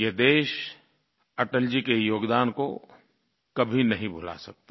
ये देश अटल जी के योगदान को कभी नहीं भुला सकता